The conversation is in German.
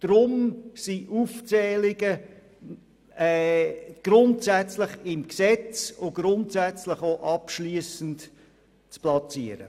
Darum sind Aufzählungen derselben grundsätzlich im Gesetz und grundsätzlich abschliessend zu platzieren.